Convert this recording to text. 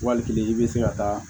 Wali kelen i bɛ se ka taa